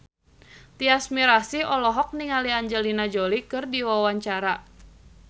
Tyas Mirasih olohok ningali Angelina Jolie keur diwawancara